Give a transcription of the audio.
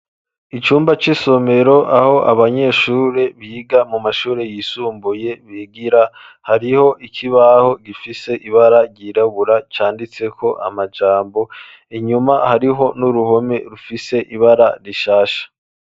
icumba c'isomero aho abanyeshuri biga mu mashuri yisumbuye bigira , hariho ikibaho gifise ibara ryirabura canditseko amajambo, inyuma hariho n'uruhome rufise ibara rishasha.